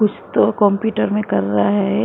कुछ तो कंप्यूटर में कर रहा है।